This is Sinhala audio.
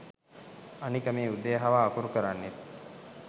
අනික මේ උදේ හවා අකුරු කරන්නෙත්